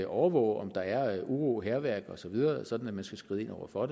overvåge om der er uro hærværk osv sådan at man skal skride ind over for